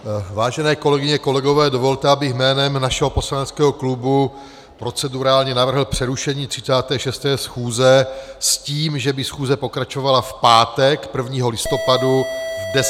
Vážené kolegyně, kolegové, dovolte, abych jménem našeho poslaneckého klubu procedurálně navrhl přerušení 36. schůze s tím, že by schůze pokračovala v pátek 1. listopadu v 10.30 hodin.